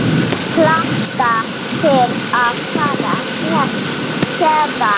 Hlakka til að fara héðan.